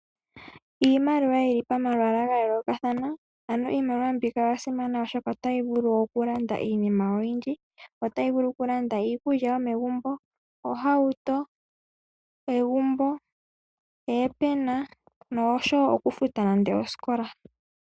Iimaliwa yili pamalwaala ga yoolokathana. Iimaliwa mbika oya simana molwaashoka otayi vulu oku landa iinima oyindji, otayi vulu okulanda iikulya yomegumbo, ohauto, egumbo, oopena nosho wo okufuta nande osikola.